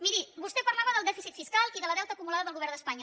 miri vostè parlava del dèficit fiscal i del deute acumulat del govern d’espanya